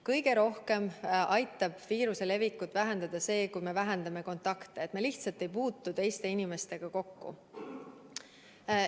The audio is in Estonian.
Kõige rohkem aitab viiruse levikut vähendada see, kui me vähendame kontakte, et me lihtsalt ei puutu teiste inimestega kokku.